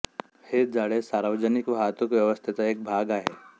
हे जाळे सार्वजनिक वाहतूक व्यवस्थेचा एक भाग आहे